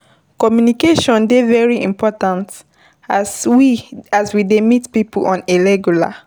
Communication dey very important as we dey meet pipo on a regular